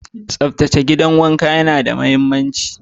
Tsaftace gidan wanka yana da mahimmanci.